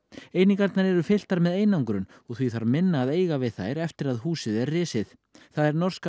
einingarnar eru fylltar með einangrun og því þarf minna að eiga við þær eftir að húsið er risið það er norska